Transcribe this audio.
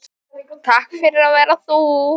Takk fyrir að vera þú.